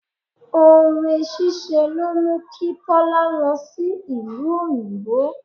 Ore ṣíṣe ló mú kí Tọ́lá lọ sí ìlú òyìnbó.